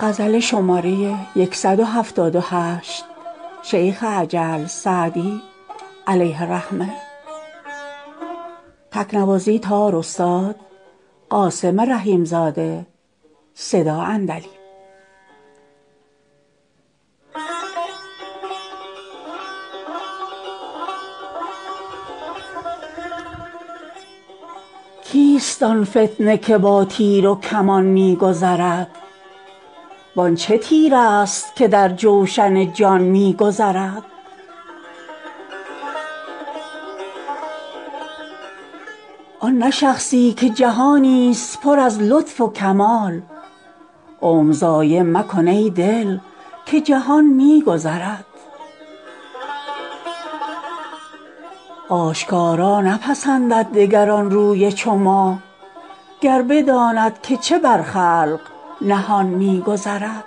کیست آن فتنه که با تیر و کمان می گذرد وان چه تیرست که در جوشن جان می گذرد آن نه شخصی که جهانی ست پر از لطف و کمال عمر ضایع مکن ای دل که جهان می گذرد آشکارا نپسندد دگر آن روی چو ماه گر بداند که چه بر خلق نهان می گذرد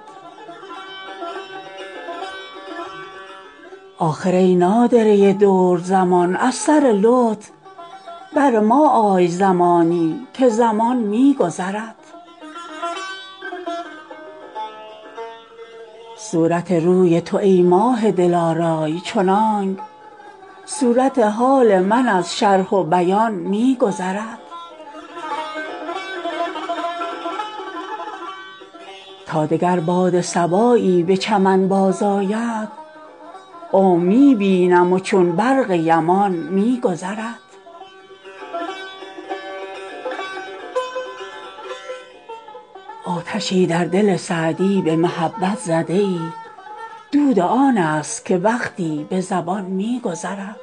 آخر ای نادره دور زمان از سر لطف بر ما آی زمانی که زمان می گذرد صورت روی تو ای ماه دلارای چنانک صورت حال من از شرح و بیان می گذرد تا دگر باد صبایی به چمن بازآید عمر می بینم و چون برق یمان می گذرد آتشی در دل سعدی به محبت زده ای دود آن ست که وقتی به زبان می گذرد